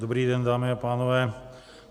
Dobrý den dámy a pánové.